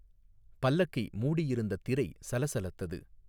பல்லக்கை மூடியிருந்த திரை சலசலத்தது.